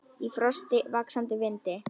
Í frosti, vaxandi vindi.